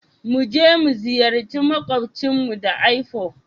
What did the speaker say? Mu je mu ziyarci maƙwabcinmu da aifu.